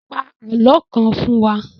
Pa àlọ́ kan fún wa!